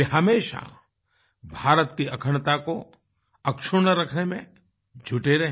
वे हमेशा भारत की अखंडता कोअक्षुण्ण रखने में जुटे रहे